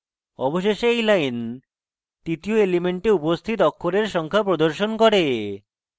অবশেষে এই line তৃতীয় এলিমেন্টে উপস্থিত অক্ষরের সংখ্যা প্রদর্শন করে